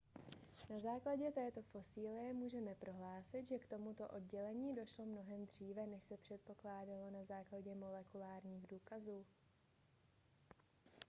na základě této fosilie můžeme prohlásit že k tomuto oddělení došlo mnohem dříve než se předpokládalo na základě molekulárních důkazů